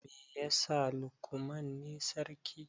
Me yasa Lukman ne sarki?